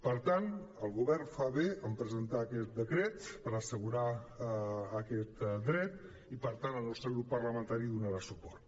per tant el govern fa bé de presentar aquest decret per assegurar aquest dret i per tant el nos·tre grup parlamentari donarà suport